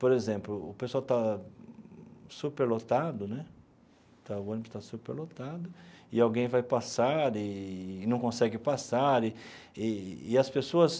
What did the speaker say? Por exemplo, o pessoal está super lotado né o ônibus está super lotado e alguém vai passar e e não consegue passar, e e e as pessoas...